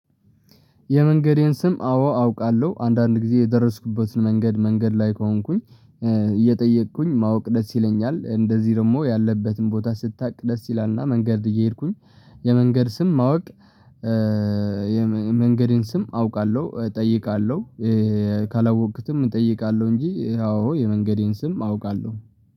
የመንገዴን ስም አዎ አውቃለሁ። አንዳንድ ጊዜ የደረስኩበትን መንገድ መንገድ ላይ ከሆንኩኝ እየጠየቅኩኝ ማወቅ ደስ ይለኛል። እንደዚህ ደግሞ ያለህበትን ቦታ ስታቅ ደስ ይላልና መንገድ እየሄድኩኝ የመንገድ ስም ማወቅ መንገዴን ስም አውቃለሁ እጠይቃለሁ ካላወኩትም እጠይቃለሁ እንጂ አዎ የመንገዴን ስም አውቃለሁ